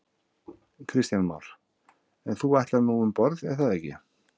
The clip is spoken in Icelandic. Kristján Már: En þú ætlar nú um borð er það ekki?